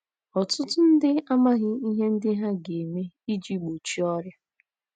Ọtụtụ ndị amaghị ihe ndị ha ga - eme iji gbochie ọrịa.